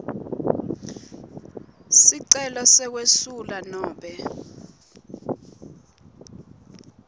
sicelo sekwesula nobe